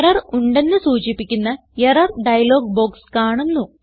error ഉണ്ടെന്ന് സൂചിപ്പിക്കുന്ന error dialog box കാണുന്നു